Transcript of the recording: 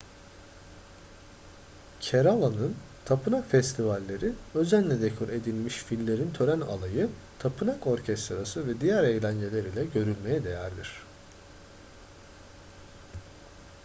kerala'nın tapınak festivalleri özenle dekore edilmiş fillerin tören alayı tapınak orkestrası ve diğer eğlenceler ile görülmeye değerdir